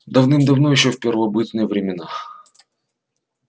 давным-давно ещё в первобытные времена